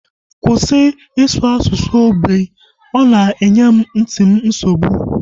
Kwụsị ịsụ asụsụ ógbè! Ọ na-enye nti m nsogbu